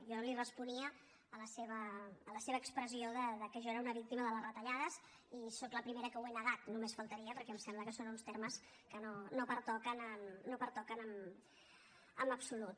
jo li responia a la seva expressió que jo era una víctima de les retallades i sóc la primera que ho he negat només faltaria perquè em sembla que són uns termes que no pertoquen en absolut